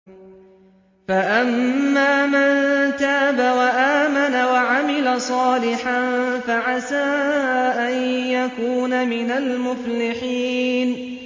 فَأَمَّا مَن تَابَ وَآمَنَ وَعَمِلَ صَالِحًا فَعَسَىٰ أَن يَكُونَ مِنَ الْمُفْلِحِينَ